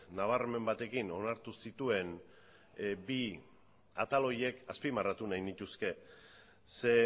nabarmen batekin onartu zituen bi atal horiek azpimarratu nahi nituzke ze